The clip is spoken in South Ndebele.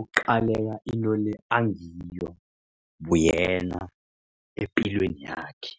uqaleka into le angiyo buyena epilweni yakhe.